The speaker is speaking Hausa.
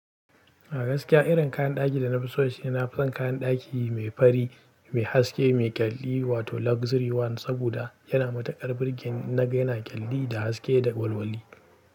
A gaskiya irin kayan ɗaki da na fi so shine na fi son kayan ɗaki mai fari, mai haske, mai ƙyalli wato luxury one. Saboda yana matukar burge ni, in naga yana ƙyalli da haske da walwali.